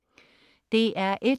DR1: